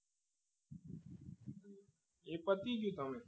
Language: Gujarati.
એ પતી ગયું